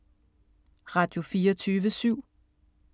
Radio24syv